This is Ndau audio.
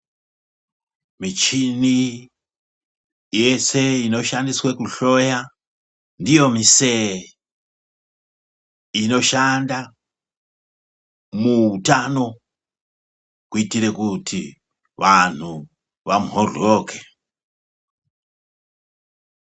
Michini yese inoshandiswe kuhloya ndiyo misee inoshanda muhutano, kuitire kuti vantu vamhoryoke.